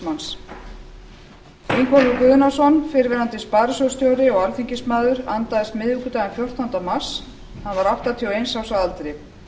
ingólfur guðnason fyrrverandi sparisjóðsstjóri og alþingismaður andaðist miðvikudaginn fjórtánda mars hann var áttatíu og eins árs að aldri